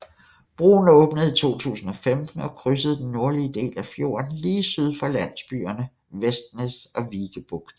Broen åbnede i 2015 og krydsede den nordlige del af fjorden lige syd for landsbyerne Vestnes og Vikebukt